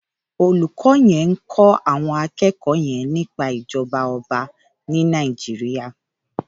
Ólúkò yèn n kò áwòn ákèékò yèn nìpá ijòbá òbá ni Nàijiriá